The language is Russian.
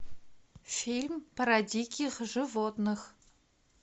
фильм про диких животных